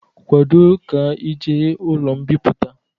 Kwado ka ị ejee n'ụlọ mbipụta!